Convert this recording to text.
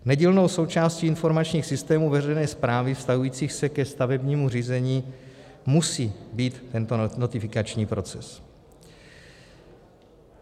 Nedílnou součástí informačních systémů veřejné správy vztahujících se ke stavebnímu řízení musí být tento notifikační proces.